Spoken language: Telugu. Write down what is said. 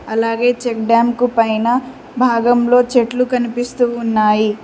అలాగే చెక్ డామ్ కు పైన భాగంలో చెట్లు కనిపిస్తూ ఉన్నాయి.